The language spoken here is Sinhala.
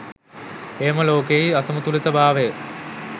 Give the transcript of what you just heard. එයම ලෝකයෙහි අසමතුලිතභාවය